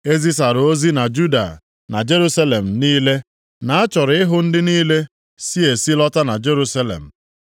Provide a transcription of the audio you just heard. E zisara ozi na Juda na Jerusalem niile na a chọrọ ịhụ ndị niile si esi lọta na Jerusalem.